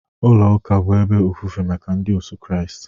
Ụlọ ụka bụ ebe ofufe maka ndị otu Kristi